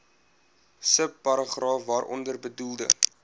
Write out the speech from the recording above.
subparagraaf waaronder bedoelde